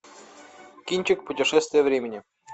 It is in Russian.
кинчик путешествие времени